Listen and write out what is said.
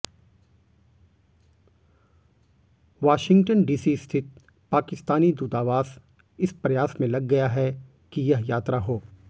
Washington DC स्थित पाकिस्तानी दूतावास इस प्रयास में लग गया है कि यह यात्रा हो